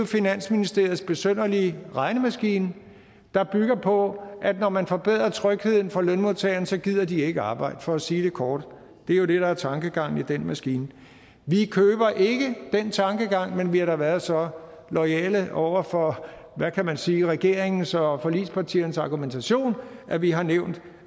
finansministeriets besynderlige regnemaskine der bygger på at når man forbedrer trygheden for lønmodtageren så gider de ikke arbejde for at sige det kort det er jo det der er tankegangen i den maskine vi køber ikke den tankegang men vi har da været så loyale over for hvad kan man sige regeringens og forligspartiernes argumentation at vi har nævnt